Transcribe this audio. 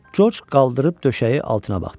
Corc qaldırıb döşəyi altına baxdı.